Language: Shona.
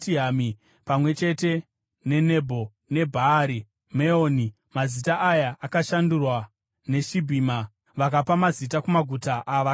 pamwe chete neNebho neBhaari Meoni (mazita aya akashandurwa) neSibhima. Vakapa mazita kumaguta avakavaka.